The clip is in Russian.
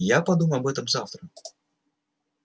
я подумаю об этом завтра